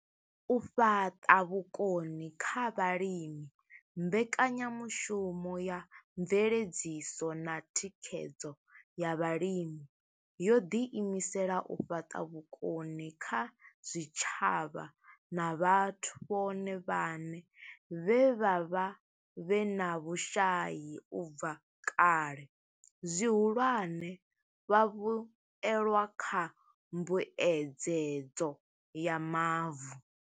U fhaṱa vhukoni kha vhalimi mbekanyamushumo ya mveledziso na Thikhedzo ya Vhalimi yo ḓi imisela u fhaṱa vhukoni kha zwitshavha na vhathu vhone vhaṋe vhe vha vha vhe na vhushai u bva kale, zwihulwane, vhavhuelwa kha mbuedzedzo ya mavu.